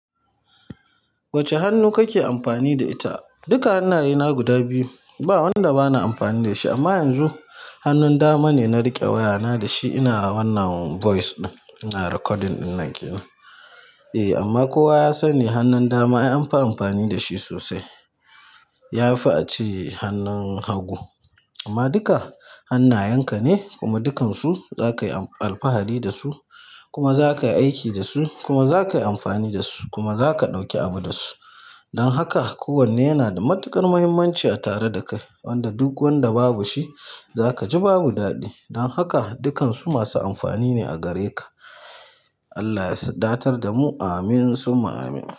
Wacce hannu kake amfani da ita? Duka hannayena guda biyu ba wanda bana amfani da shi amma yanzu hannun dama ne na riƙe wayana da shi ina wannan voice ina recording ɗin nan kenan. Eh amma kowa ya sani hannun dama an fi amfani da shi sosai. Ya fi a ce hannun hagu. Amma duka hannayenka ne kuma dukansu zakayi alfahari dasu kuma zakayi aiki dasu kuma zakayi amfani dasu kuma zaka ɗauki abu dasu. Don haka kowanne yana da matuƙar muhimmanci a tare da kai wanda duk wanda babu shi zakaji babu daɗi. Don haka dukansu masu amfani ne a gare ka. Allah ya wadatar da mu. Amin summa amin.